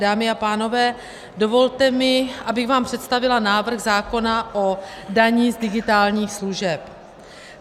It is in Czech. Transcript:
Dámy a pánové, dovolte mi, abych vám představila návrh zákona o dani z digitálních služeb.